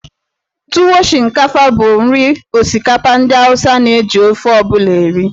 Tuwo Shinkafa bụ nri osikapa ndị Awụsa na-eji ofe ọ bụla eri.